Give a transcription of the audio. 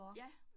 Ja